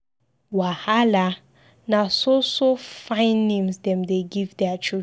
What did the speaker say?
Wahala! Na so so fine names dem dey give their children.